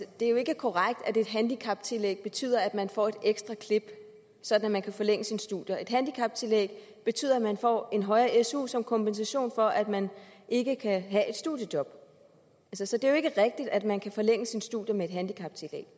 det jo ikke er korrekt at et handicaptillæg betyder at man får et ekstra klip sådan at man kan forlænge sine studier et handicaptillæg betyder at man får en højere su som kompensation for at man ikke kan have et studiejob så så det er jo ikke rigtigt at man kan forlænge sine studier med et handicaptillæg